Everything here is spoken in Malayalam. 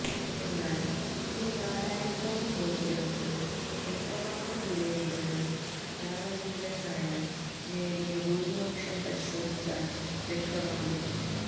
എന്നാല് ഈ നാലായിരത്തോളം വോട്ടുകള്ക്ക് എത്രമാത്രം വിലയുണ്ടെന്ന് രാമചന്ദ്രന് നായര് നേടിയ ഭൂരിപക്ഷം പരിശോധിച്ചാല് വ്യക്തമാകും